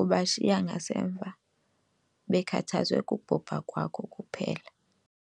ubashiya ngasemva bekhathazwe kubhubha kwakho kuphela.